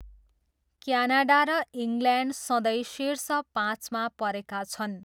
Canada र England सधैँ शीर्ष पाँचमा परेका छन्।